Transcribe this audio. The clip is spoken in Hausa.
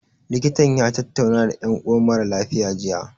Likitan ya tattauna da ƴan uwan mara lafiya, jiya.